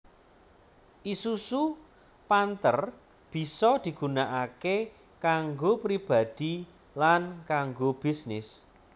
Isuzu Panther bisa digunakaké kanggo pribadi lan kanggo bisnis